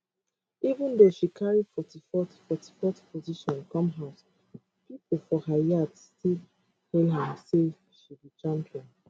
even though she carry 44th 44th position come house pipo for her yard still hail am say she be champion